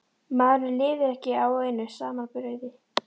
Maðurinn lifir ekki á einu saman brauði.